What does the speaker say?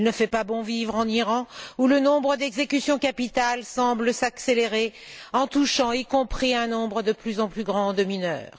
Il ne fait pas bon vivre en Iran, où le nombre d'exécutions capitales semble s'accélérer en touchant également un nombre de plus en plus grand de mineurs.